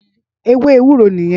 Éwé éwúró niyèn